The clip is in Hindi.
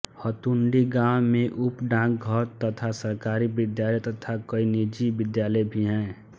हतुण्डी गांव में उप डाकघर तथा सरकारी विद्यालय तथा कई निजी विद्यालय भी है